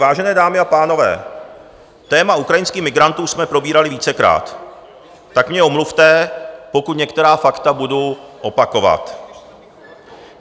Vážené dámy a pánové, téma ukrajinských migrantů jsme probírali vícekrát, tak mě omluvte, pokud některá fakta budu opakovat.